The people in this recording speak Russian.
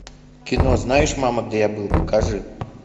кино знаешь мама где я был покажи